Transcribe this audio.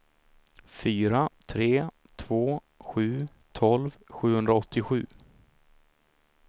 fyra tre två sju tolv sjuhundraåttiosju